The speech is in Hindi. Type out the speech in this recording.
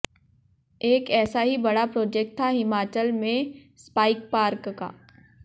एक ऐसा ही बड़ा प्रोजेक्ट था हिमाचल में स्पाइस पार्क का